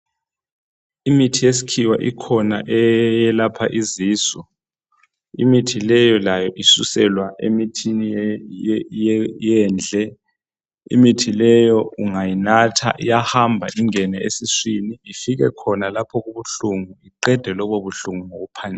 Imithi yesikhiwa ikhona eyelapha izisu. Imithi leyo layo isuselwa emithini yendle. Imithi leyo ungayinatha iyahamba ingene esiswini ifike khona lapho okubuhlungu iqede okubuhlungu ngokuphangisa.